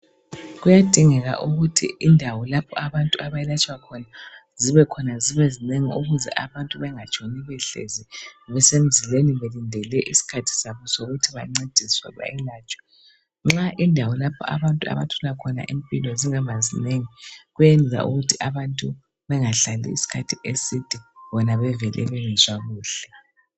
Kuyadingeka ukuthi indawo lapho abantu abayelatshwa khona zibekhona zibe zinengi ukuze abantu bengatshoni behlezi besemzileni belindele isikhathi sabo sokuthi bancediswe bayelatshwe. Nxa indawo lapho abantu abathola khona impilo zingaba zinengi kwenza ukuthi abantu bengahlali isikhathi eside bona bevele bengezwa kuhle.